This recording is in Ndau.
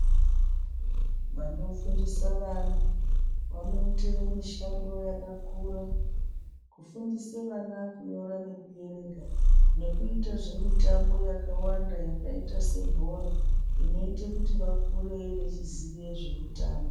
Vanofundisa vana vanoita mishando yakakura kufundisa vana kunyora nekuerenga nekuita zvemitambo yakawanda yakaita sebhora inoita kuti vakure vachiziva zvekutamba.